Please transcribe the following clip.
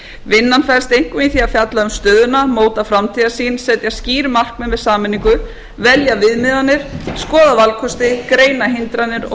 vinnan felst einkum í því að fjalla um stöðuna móta framtíðarsýn setja skýr markmið með sameiningu velja viðmiðanir skoða valkosti greina hindranir og